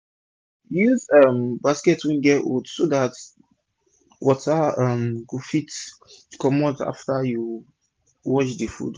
use um basket wey get hold so dat water um go fit comot after u wash d food